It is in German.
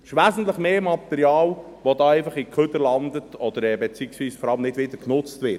Es ist wesentlich mehr Material, das einfach im Abfall landet oder das vor allem nicht wieder genutzt wird;